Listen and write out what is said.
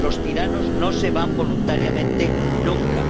Los tiranos no se van voluntariamente nunca.